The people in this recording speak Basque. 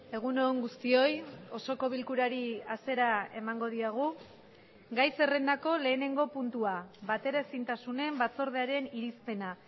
egun on guztioi osoko bilkurari hasiera emango diogu gai zerrendako lehenengo puntua bateraezintasunen batzordearen irizpena